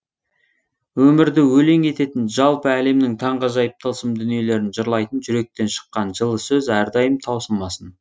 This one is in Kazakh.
өмірді өлең ететін жалпы әлемнің таңғажайып тылсым дүниелерін жырлайтын жүректен шыққан жылы сөз әрдайым таусылмасын